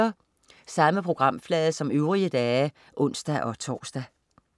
Samme programflade som øvrige dage (ons-tors)